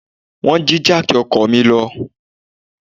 Wọ́n jí jáàkì ọkọ̀ mi lọ.